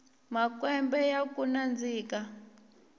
makwembe yakunandzika